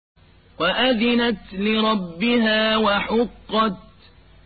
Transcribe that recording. وَأَذِنَتْ لِرَبِّهَا وَحُقَّتْ